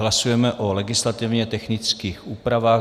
Hlasujeme o legislativně technických úpravách.